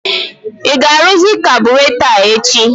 I ga-aruzị kaburatọ a echi?